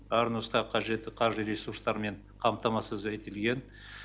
әр нұсқа қажетті қаржы ресурстармен қамтамасыз етілген